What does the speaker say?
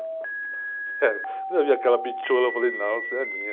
Quando eu vi aquela, eu falei, não, você é minha.